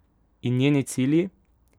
In njeni cilji?